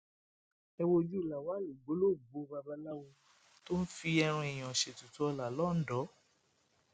ẹ wojú lawal ògbólógbòó babaláwo tó ń fi ẹran èèyàn ṣètùtù ọlá lọńdọ